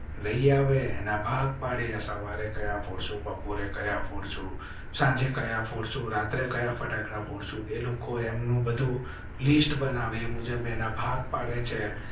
લઇ આવે એના ભાગ પાડ્યા. સવારે કયા કયા ફૂડ્સ બપોરે કાયા ફોડસુ સાંજે કાયા ફોડસુ રાત્રે કયા ફટાકડા ફોડું છું એ લોકો એમ નું બધું લિસ્ટ બનાવે. મુઝે બે ભાગ પડે છે,